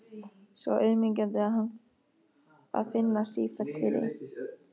Svo auðmýkjandi að finna sífellt fyrir því.